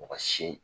Mɔgɔ si